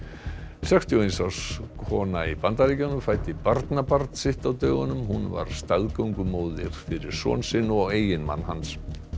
sextíu og eins árs kona í Bandaríkjunum fæddi barnabarn sitt á dögunum hún var staðgöngumóðir fyrir son sinn og eiginmann hans